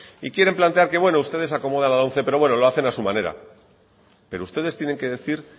y quieren plantear que ustedes se acomodan la lomce pero lo hacen a su manera pero ustedes tienen que decir